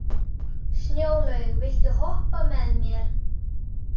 Snjólaug, viltu hoppa með mér?